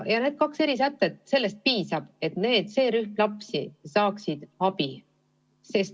Neist kahest erisättest piisab, et see rühm lapsi saaks abi.